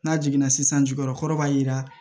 N'a jiginna sisan jukɔrɔ kɔrɔ b'a yira